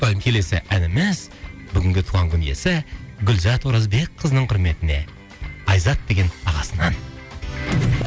келесі әніміз бүгінгі туған күн иесі гүлзат оразбекқызының құрметіне айзат деген ағасынан